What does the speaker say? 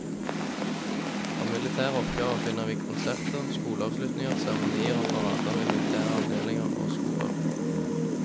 Av militære oppgaver finner vi konserter, skoleavslutninger, seremonier og parader ved militære avdelinger og skoler.